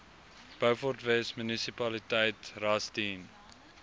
beaufortwes munisipaliteit rustedene